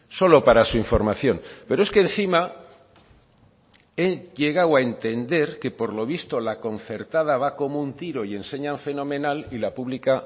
solo para su información pero es que encima he llegado a entender que por lo visto la concertada va como un tiro y enseñan fenomenal y la pública